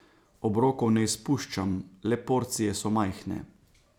Obrokov ne izpuščam, le porcije so majhne.